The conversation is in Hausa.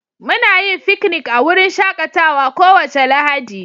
Muna yin fiknik a wurin shakatawa kowace Lahadi.